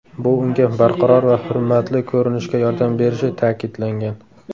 Bu unga barqaror va hurmatli ko‘rinishga yordam berishi ta’kidlangan.